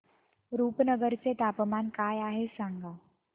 रुपनगर चे तापमान काय आहे सांगा